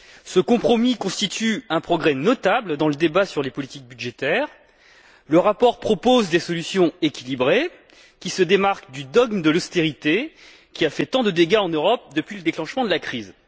Ce compromis constitue un progrès notable dans le débat sur les politiques budgétaires. Le rapport propose des solutions équilibrées, qui se démarquent du dogme de l'austérité, qui a fait tant de dégâts en Europe depuis le déclenchement de la crise.